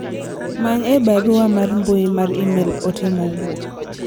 many e barua mar mbui mar email ote mowuok